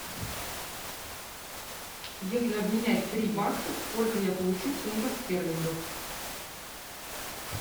если обменять три бакса сколько я получу фунтов стерлингов